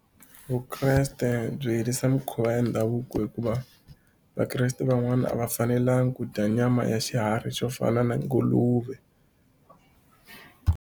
Vukreste byi yirisa mikhuva ya ndhavuko hikuva vakreste van'wani a va fanelanga ku dya nyama ya xiharhi xo fana na nguluve.